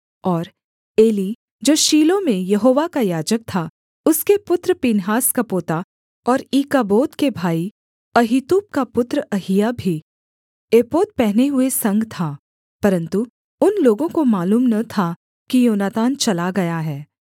और एली जो शीलो में यहोवा का याजक था उसके पुत्र पीनहास का पोता और ईकाबोद के भाई अहीतूब का पुत्र अहिय्याह भी एपोद पहने हुए संग था परन्तु उन लोगों को मालूम न था कि योनातान चला गया है